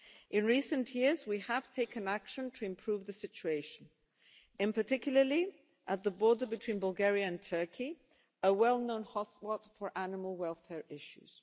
In recent years, we have taken action to improve the situation, particularly at the border between Bulgaria and Turkey, a well known hotspot for animal welfare issues.